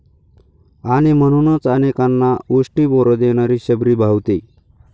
आणि म्हणूनच अनेकांना उष्टी बोरं देणारी शबरी भावते.